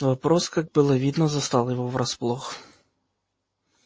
вопрос как было видно застал его врасплох